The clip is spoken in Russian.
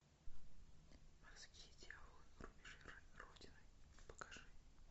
морские дьяволы рубежи родины покажи